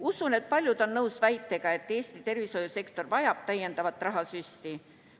Usun, et paljud on nõus väitega, et Eesti tervishoiusektor vajab täiendavat rahasüsti.